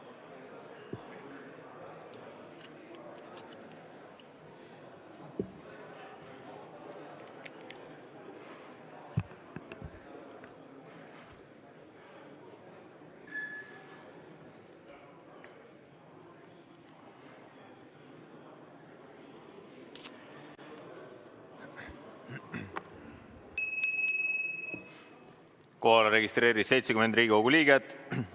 Kohalolijaks registreerus 70 Riigikogu liiget.